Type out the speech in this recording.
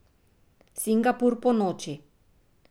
Singapur ponoči.